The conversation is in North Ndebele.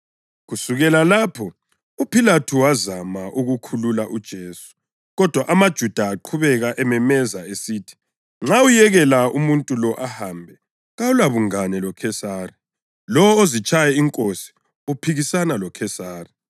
Kusukela lapho uPhilathu wazama ukukhulula uJesu, kodwa amaJuda aqhubeka ememeza esithi, “Nxa uyekela umuntu lo ahambe, kawulabungane loKhesari. Lowo ozitshaya inkosi uphikisana loKhesari.”